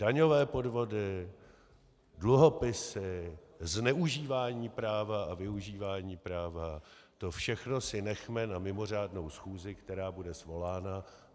Daňové podvody, dluhopisy, zneužívání práva a využívání práva, to všechno si nechme na mimořádnou schůzi, která bude svolána.